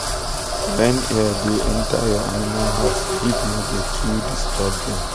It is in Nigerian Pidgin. when air da enter ur animal house heat no da too disturb dem